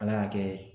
Ala y'a kɛ